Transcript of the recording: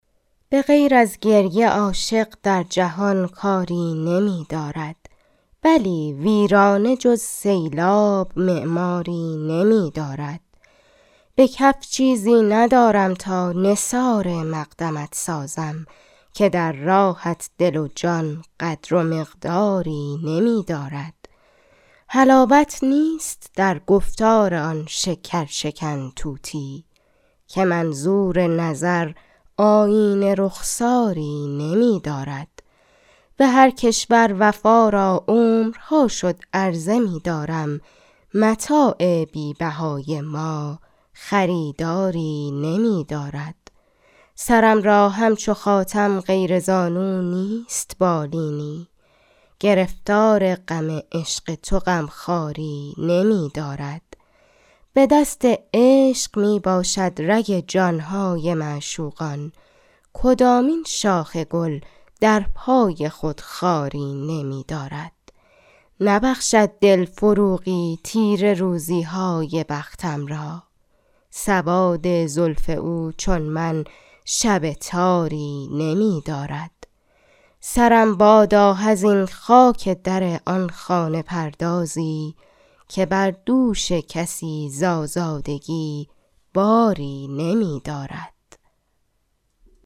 به غیر از گریه عاشق در جهان کاری نمی دارد بلی ویرانه جز سیلاب معماری نمی دارد به کف چیزی ندارم تا نثار مقدمت سازم که در راهت دل و جان قدر و مقداری نمی دارد حلاوت نیست در گفتار آن شکرشکن طوطی که منظور نظر آیینه رخساری نمی دارد به هرکشور وفا را عمرها شد عرضه می دارم متاع بی بهای ما خریداری نمی دارد سرم را همچو خاتم غیر زانو نیست بالینی گرفتار غم عشق تو غمخواری نمی دارد به دست عشق می باشد رگ جانهای معشوقان کدامین شاخ گل در پای خود خاری نمی دارد نبخشد دل فروغی تیره روزی های بختم را سواد زلف او چون من شب تاری نمی دارد سرم بادا حزین خاک در آن خانه پردازی که بر دوش کسی زآزادگی باری نمی دارد